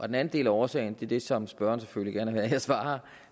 den anden del af årsagen det er det som spørgeren selvfølgelig gerne vil have jeg svarer